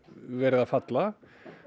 verið að falla